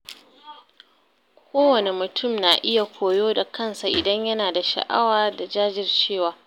Kowane mutum na iya koyo da kansa idan yana da sha’awa da jajircewa.